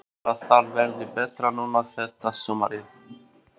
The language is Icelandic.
Heldur að það verði betra núna þetta sumarið?